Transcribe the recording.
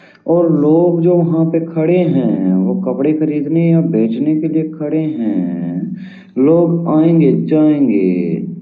और लोग जो वहां पे खड़े हैं वो कपड़े खरीदने या बेचने के लिए खड़े हैं लोग आयंगे जायंगे--